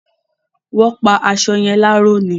Wọ́n pa aṣọ yẹn láró ni